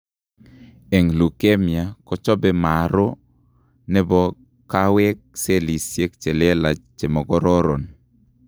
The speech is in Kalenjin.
Eng' leukemia kochobe marrow nebo kaweek cellisiek chelelach chemakoron